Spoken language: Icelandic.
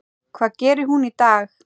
Hvað gerir hún í dag?